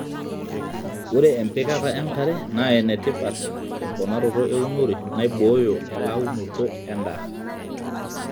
ore empikata enkare naa enetipat te mponaroto eeunore naibooyo rlaunoto edaa